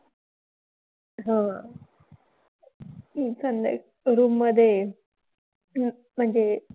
हां. हम्म चांगलं आहे. Room मधे अह म्हणजे,